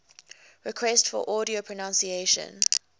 requests for audio pronunciation